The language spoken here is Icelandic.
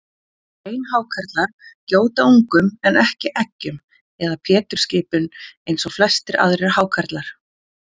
Beinhákarlar gjóta ungum en ekki eggjum eða pétursskipum eins og flestir aðrir hákarlar.